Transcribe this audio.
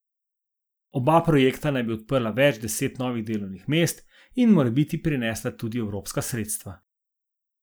Oba projekta naj bi odprla več deset novih delovnih mest in morebiti prinesla tudi evropska sredstva.